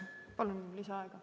Palun lisaaega!